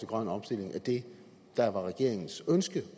grøn omstilling af det der var regeringens ønske